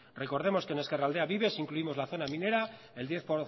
recordemos que en ezkerraldea vive si incluimos la zona minera